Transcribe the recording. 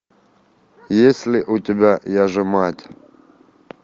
есть ли у тебя я же мать